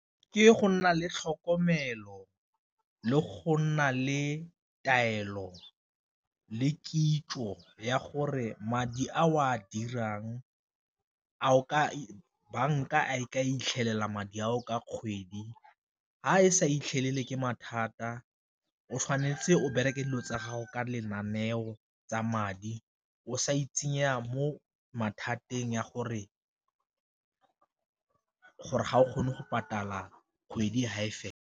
Ke go nna le tlhokomelo le go nna le taelo le kitso ya gore madi a o a dirang banka a e ka itlhelela madi a o ka kgwedi, fa e sa itlhelele ke mathata o tshwanetse o bereke dilo tsa gago ka lenaneo tsa madi o sa itsenya mo mathateng ya gore ga o kgone go patala kgwedi fa e fela.